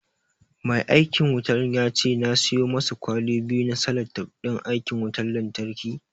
Mai aikin wutan ya ce na siyo masa kwali biyu na salatif ɗin aikin wutan lanyarki